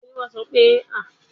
Bẹ́ẹ̀ni, mo ń lọ Egypt láìpẹ́.